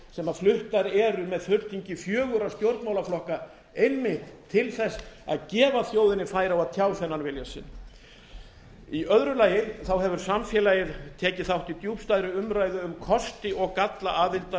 sem fluttar eru með fulltingi fjögurra stjórnmálaflokka einmitt til að gefa þjóðin færi á að tjá þennan vilja sinn í öðru lagi hefur samfélagið tekið þátt í djúpstæðri umræðu um kosti og galla aðildar